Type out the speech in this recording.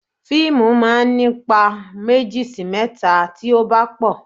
Fíìmù máa ń ní ipa méjì sí mẹ́ta tí ó bá pò.